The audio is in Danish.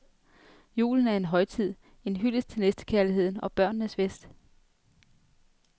Julen er en højtid, en hyldest til næstekærligheden og børnenes fest.